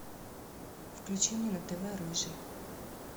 включи мне на тв рыжий